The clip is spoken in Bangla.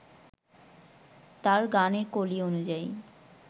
তাঁর গানের কলি অনুযায়ী